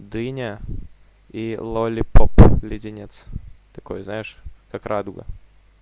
дыня и лолипоп леденец такой знаешь как радуга